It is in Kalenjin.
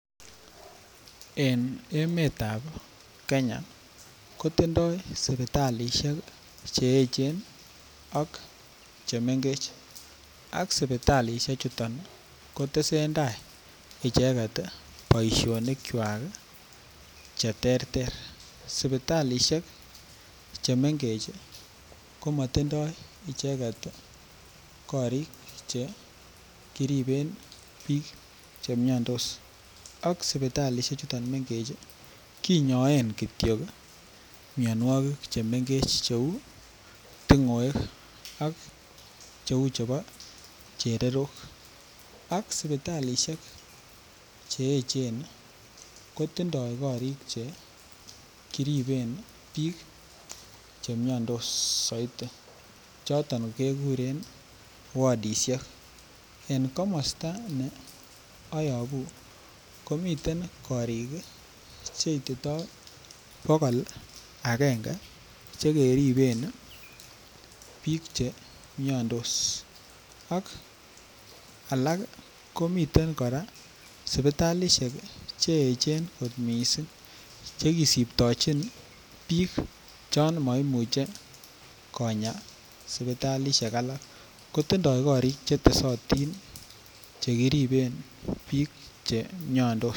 En emetab Kenya ko tindoi sipitalisiek Che echen ak chemengechen sipitalisiechu kotesentai icheget boisionikwak Che terter sipitalisiek Che mengech ko matindoi icheget korik Che kiriben bik Che miandos ak sipitalisiechu chuton mengech kinyoen Kityo mianwogik Che mengech cheu tingoek ak cheu chebo chererok ak sipitalisiek Che echen kotindoi korik Che kiriben bik Che miandos soiti Che kikuren wadisiek en komosta ne ayobu komiten korik Che ititoi bogol agenge Che keriben bik miandos ak kora komiten sipitalisiek Che echen kot mising Che kisiptechin bik chon moimuche konya sipitalisiek alak kotindoi korik Che tesotinn Che kiriben bik Che miandos